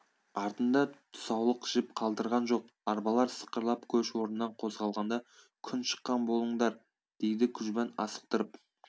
артында тұсаулық жіп қалдырған жоқ арбалар сықырлап көш орнынан қозғалғанда күн шыққан болыңдар дейді күжбан асықтырып